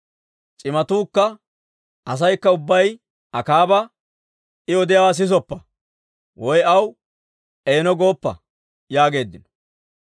C'imatuukka asaykka ubbay Akaaba, «I odiyaawaa sisoppa! Woy aw, ‹Eeno› gooppa!» yaageeddino.